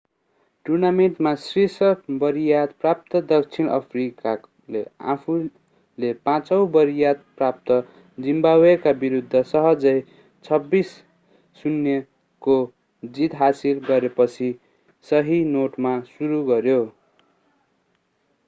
टूर्नामेन्टमा शीर्ष वरियता प्राप्त दक्षिण अफ्रिकाले आफूले 5 औँ वरियता प्राप्त जाम्बियाका विरुद्ध सहजै 26-00 को जीत हासिल गरेपछि सही नोटमा सुरु गर्यो